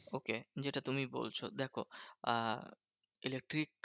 Okay যেটা তুমি বলছো দেখো আহ electric